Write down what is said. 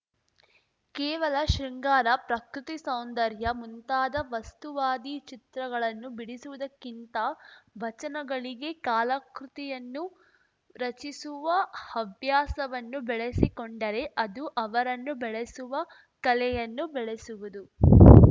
ಕೇವಲ ಶೃಂಗಾರ ಪ್ರಕೃತಿ ಸೌಂದರ್ಯ ಮುಂತಾದ ವಸ್ತುವಾದಿ ಚಿತ್ರಗಳನ್ನು ಬಿಡಿಸುವುದಕ್ಕಿಂತ ವಚನಗಳಿಗೆ ಕಾಲಾಕೃತಿಯನ್ನು ರಚಿಸುವ ಹವ್ಯಾಸವನ್ನು ಬೆಳಸಿಕೊಂಡರೆ ಅದು ಅವರನ್ನೂ ಬೆಳೆಸುವ ಕಲೆಯನ್ನೂ ಬೆಳೆಸುವುದು